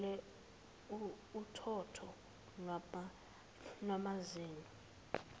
kuvele uthotho lwamazinyo